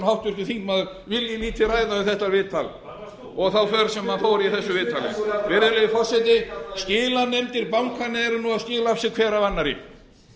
tryggvi þór herbertsson vilji lítið ræða um þetta viðtal hvar varst þú og það sem hann sagði þar virðulegi forseti skilanefndir bankanna eru nú að skila af sér hver af annarri